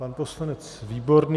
Pan poslanec Výborný?